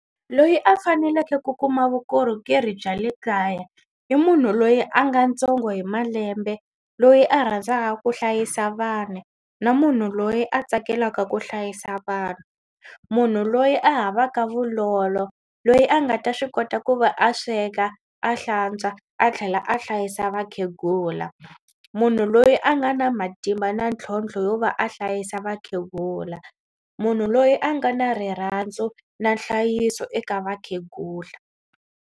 Loyi a faneleke ku kuma vukorhokeri bya le kaya i munhu loyi a nga ntsongo hi malembe loyi a rhandzaka ku hlayisa vanhu na munhu loyi a tsakelaka ku hlayisa vanhu. Munhu loyi a havaka vulolo loyi a nga ta swi kota ku va a sweka a hlantswa a tlhela a hlayisa vakhegula. Munhu loyi a nga na matimba na ntlhontlho yo va a hlayisa vakhegula munhu loyi a nga na rirhandzu na nhlayiso eka vakhegula.